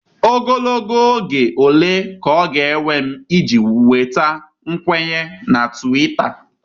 Ogologo oge ole ka ọ ga-ewe m iji nweta nkwenye na Twita?